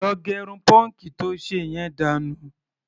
Lọ gẹrun pọ́ǹkì to ṣe yẹn dànù.